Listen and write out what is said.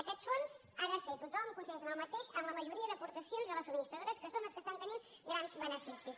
aquest fons ha de ser tothom coincideix en el mateix amb la majoria d’aportacions de les subministradores que són les que estan tenint grans beneficis